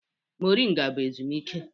Moringa bụ ezumike